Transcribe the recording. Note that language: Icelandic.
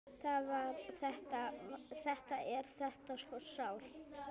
Þetta er þetta svo sárt!